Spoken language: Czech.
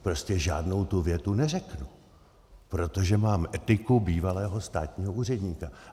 Prostě žádnou tu větu neřeknu, protože mám etiku bývalého státního úředníka.